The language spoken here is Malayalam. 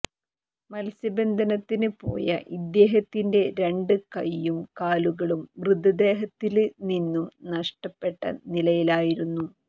മത്സ്യബന്ധനത്തിന് പോയ ഇദ്ദേഹത്തിന്റെ രണ്ട് കൈയും കാലുകളും മൃതദേഹത്തില് നിന്നും നഷ്ടപ്പെട്ട നിലയിലായിരുന്നു